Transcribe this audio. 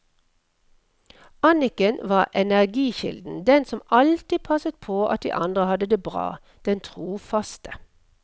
Annicken var energikilden, den som alltid passet på at de andre hadde det bra, den trofaste.